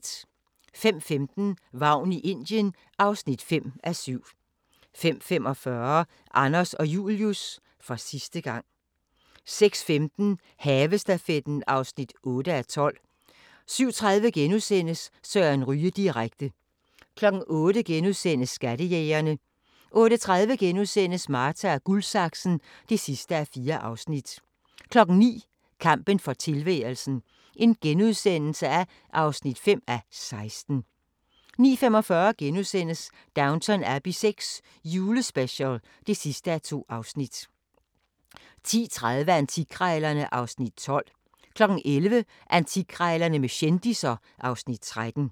05:15: Vagn i Indien (5:7) 05:45: Anders og Julius – for sidste gang 06:15: Havestafetten (8:12) 07:30: Søren Ryge direkte * 08:00: Skattejægerne * 08:30: Marta & Guldsaksen (4:4)* 09:00: Kampen for tilværelsen (5:16)* 09:45: Downton Abbey VI – julespecial (2:2)* 10:30: Antikkrejlerne (Afs. 12) 11:00: Antikkrejlerne med kendisser (Afs. 13)